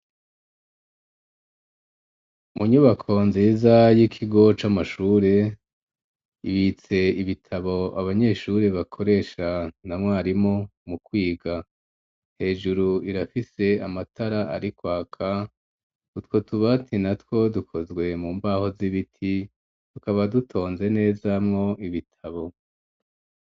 Mu nyubako nziza y'ikigo c'amashure, ibitse ibitabo abanyeshuri bakoresha na mwarimu mu kwiga, hejuru irafise amatara ari kwaka, utwo tubati natwo dukozwe mu mbaho z'ibiti, tukaba dutonze neza mwo ibitabo.